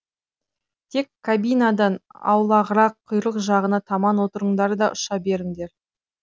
тек кабинадан аулағырақ құйрық жағына таман отырыңдар да ұша беріңдер